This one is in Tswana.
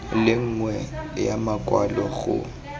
le nngwe ya makwalo go